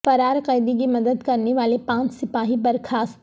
فرار قیدی کی مدد کرنے والے پانچ سپاہی برخاست